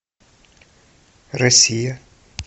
россия